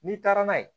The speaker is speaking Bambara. N'i taara n'a ye